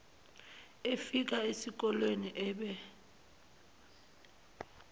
efika esikolene ebe